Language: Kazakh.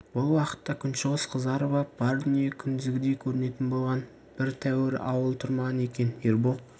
бұл уақытта күншығыс қызарып ап бар дүние күндізгідей көрінетін болған бір тәуірі ауыл тұрмаған екен ербол